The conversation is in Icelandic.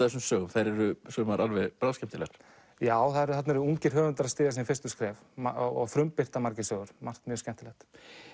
þessum sögum þær eru sumar alveg bráðskemmtilegar já þarna eru ungir höfundar að stíga sín fyrstu skref og frumbirta margir sögur margt mjög skemmtilegt